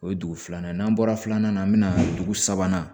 O ye dugu filanan ye n'an bɔra filanan na an bɛna dugu sabanan